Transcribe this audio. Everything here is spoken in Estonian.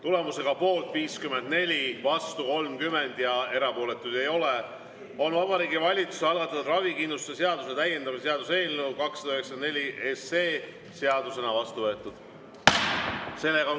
Tulemusega poolt 54, vastu 30 ja erapooletuid ei ole, on Vabariigi Valitsuse algatatud ravikindlustuse seaduse täiendamise seaduse eelnõu 294 seadusena vastu võetud.